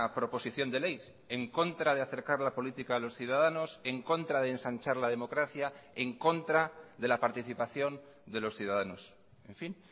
proposición de ley en contra de acercar la política a los ciudadanos en contra de ensanchar la democracia en contra de la participación de los ciudadanos en fin